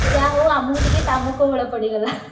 ଯାହା ହଉ ଆମୁକୁ ଟିକେ କାମ କୋହଳ ପଡିଗଲା।